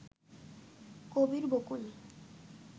Kabir Bakul